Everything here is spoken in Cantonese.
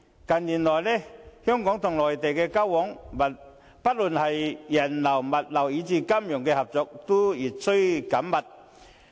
近年來，香港與內地的交往，不論是人流、物流以至金融合作，均越趨緊密。